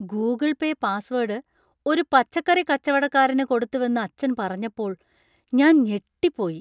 Google Pay password ഒരു പച്ചക്കറി കച്ചവടക്കാരനു കൊടുത്തുവെന്നു അച്ഛൻ പറഞ്ഞപ്പോൾ ഞാൻ ഞെട്ടിപ്പോയി.